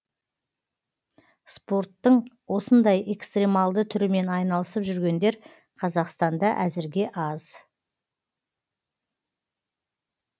спорттың осындай экстремалды түрімен айналысып жүргендер қазақстанда әзірге аз